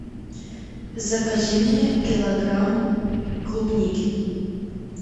закажи мне килограмм клубники